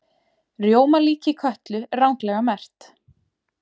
Rjómalíki Kötlu ranglega merkt